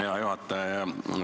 Hea juhataja!